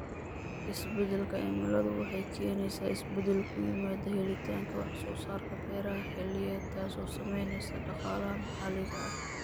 Isbeddelka cimiladu waxay keenaysaa isbeddel ku yimaada helitaanka wax soo saarka beeraha xilliyeed, taasoo saameynaysa dhaqaalaha maxalliga ah.